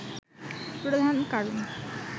প্রধান কারণ